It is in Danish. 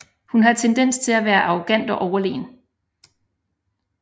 Hun har tendens til at være arrogant og overlegen